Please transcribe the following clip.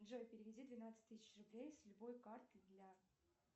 джой переведи двенадцать тысяч рублей с любой карты для